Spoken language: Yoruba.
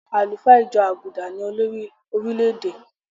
Àlùfáà ìjọ àgùdà ni olórí orílè-èdè.